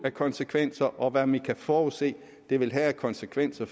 af konsekvenser og hvad man kan forudse det vil have af konsekvenser